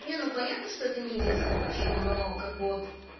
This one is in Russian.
нет ну понятно что это не единственная причина но как бы вот